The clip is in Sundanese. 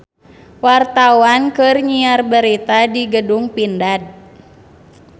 Wartawan keur nyiar berita di Gedung Pindad